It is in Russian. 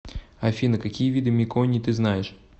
афина какие виды меконий ты знаешь